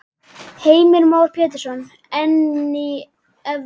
Heimir Már Pétursson: En í evrum?